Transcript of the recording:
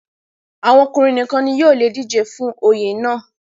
àwọn ọkùnrin nìkan ni yóò le dijé fún Oyè náà